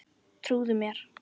Trúðu mér!